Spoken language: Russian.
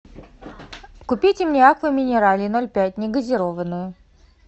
купите мне аква минерале ноль пять негазированную